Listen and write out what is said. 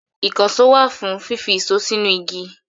Ìkànṣó wà fún fífi ìṣó sínú igi.